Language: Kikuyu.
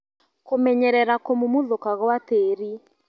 kũmenyerera kũmumuthũka gwa tĩri